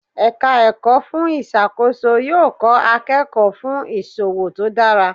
Ẹ̀ka ẹ̀kọ́ fún ìṣàkóso yóò kọ́ akẹ́kọ̀ọ́ fún ìṣòwò tó dára.